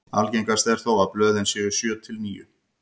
algengast er þó að blöðin séu sjö til níu